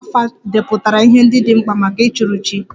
Dibia 'afa' depụtara ihe ndị dị mkpa maka ịchụrụ chi